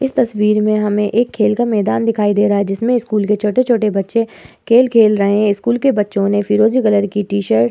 इस तस्वीर में हमें एक खेल का मैदान दिखाई दे रहां है जिसमें स्कूल के छोटे छोटे बच्चे खेल खेल रहे हैं। स्कूल के बच्चे ने फिरोज़ी कलर की टीशर्ट --